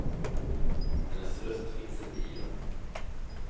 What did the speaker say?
Hennes röst finns inte i dem.